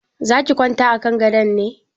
Za ki kwanta a kan gadon ne?